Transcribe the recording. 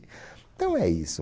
Então é isso.